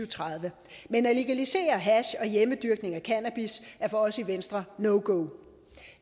tredive men at legalisere hash og hjemmedyrkning af cannabis er for os i venstre no go